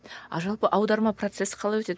а жалпы аударма процесі қалай өтеді